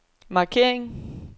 markering